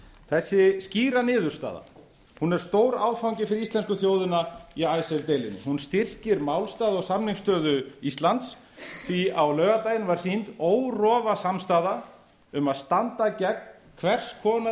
þessi skýra niðurstaða er stór áfangi fyrir íslensku þjóðina í icesave deilunni hún styrkir málstað og samningsstöðu íslands því á laugardaginn var sýnd órofa samstaða um að standa gegn hvers konar